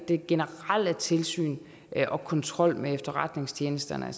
det generelle tilsyn og kontrollen med efterretningstjenesterne